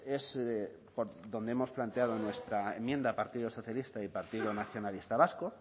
es donde hemos planteado nuestra enmienda partido socialista y partido nacionalista vasco